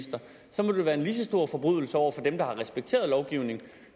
være en lige så stor forbrydelse over for dem der har respekteret lovgivningen